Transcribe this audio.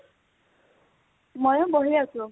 মইয়ো বহি আছো